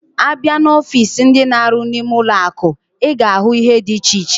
Abia na ọfịs ndi na-aru nime ụlọ akụ, iga ahu ihe diche iche.